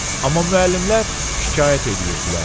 Amma müəllimlər şikayət eləyirdilər.